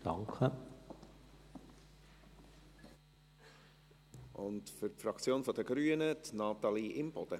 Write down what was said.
Für die Fraktion der Grünen spricht Grossrätin Imboden.